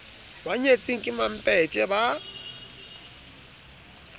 ba nyetseng ke mampetje ba